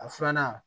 A filanan